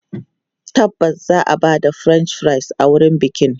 Tabbas za a ba da French fries a wurin bikin.